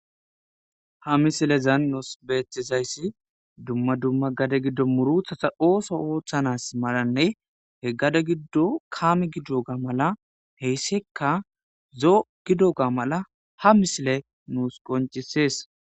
ha misilezan nous beethizayssi dumma dumma gade giddo muruthata ooso ooththanas maranne heggade giddo kaame giddo ga mala heyssekka zoo gido ga mala ha misile nuus qoncisees